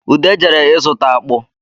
Ude jere ịzụta akpụ